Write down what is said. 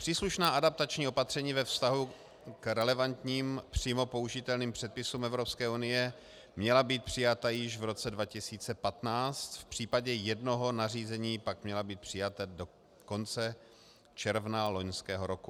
Příslušná adaptační opatření ve vztahu k relevantním přímo použitelným předpisům Evropské unie měla být přijata již v roce 2015, v případě jednoho nařízení pak měla být přijata do konce června loňského roku.